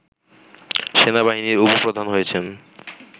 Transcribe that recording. সেনাবাহিনীর উপ-প্রধান হয়েছেন